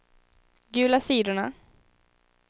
gula sidorna